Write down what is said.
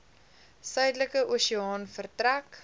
suidelike oseaan vertrek